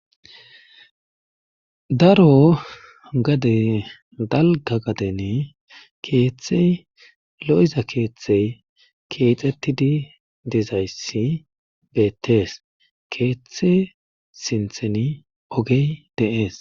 daro gade dalga gaden keeththey lo7iza keeththey keexxettidi dezayssi beettees keeththe sintheni ogey de7ees.